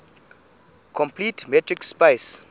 complete metric space